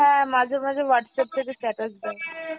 হ্যাঁ ,মাঝে মাঝে Whatsapp থেকে status দেয়।